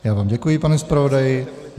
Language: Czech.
Já vám děkuji, pane zpravodaji.